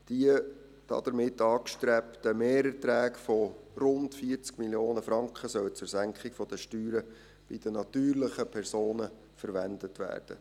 Die damit angestrebten Mehrerträge von rund 40 Mio. Franken sollen zur Senkung der Steuern bei den natürlichen Personen verwendet werden.